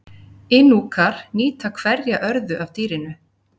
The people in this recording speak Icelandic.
Inúkar nýta hverja örðu af dýrinu.